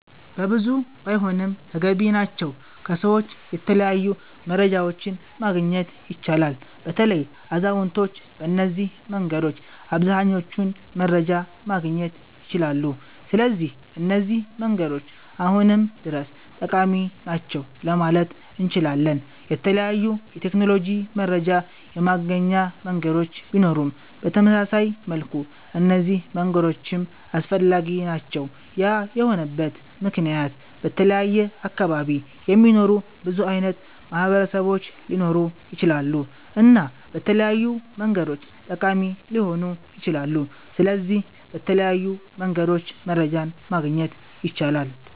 በብዙ ባይሆንም ተገቢ ናቸዉ ከሰዎች የተለያዩ መረጃዎችን ማግኘት ይቻላል። በተለይ አዛዉነቶች በነዚህ መንገዶች አብዘሃኛዉን መረጃ ማግኘት ይችላሉ ስለዚህ እነዚህ መንገዶች አሁንም ድረስ ጠቃሚ ናቸዉ ለማለት እነችላለን። የተለያዩ የቴክኖሎጂ መረጃ የማገኛ መንገዶች ቢኖሩም በተመሳሳይ መልኩ እነዚህ መንገዶችም አስፈላጊ ናቸዉ ያ የሆነበት መክንያት በተለያየ አካባቢ የሚኖሩ ብዙ አይነት ማህበረሰቦች ሊኖሩ ይችላሉ እና በተለያዩ መንገዶች ጠቃሚ ሊሆኑ ይችላሉ። ስለዚህ በተለያዩ መንገድ መረጃ ማግኘት ይቻላል